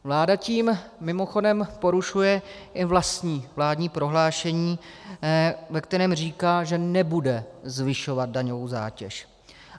Vláda tím, mimochodem, porušuje i vlastní vládní prohlášení, ve kterém říká, že nebude zvyšovat daňovou zátěž.